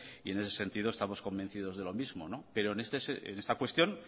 y en ese sentido estamos convencidos de lo mismo pero en esta cuestión